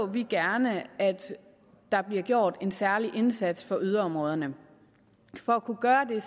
vi gerne at der bliver gjort en særlig indsats for yderområderne for at kunne gøre det